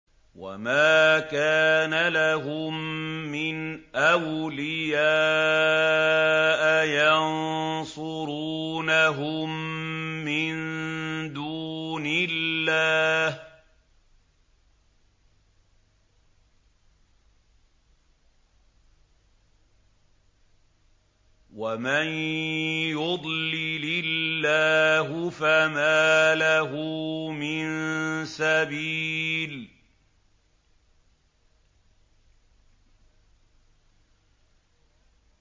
وَمَا كَانَ لَهُم مِّنْ أَوْلِيَاءَ يَنصُرُونَهُم مِّن دُونِ اللَّهِ ۗ وَمَن يُضْلِلِ اللَّهُ فَمَا لَهُ مِن سَبِيلٍ